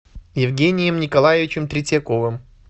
евгением николаевичем третьяковым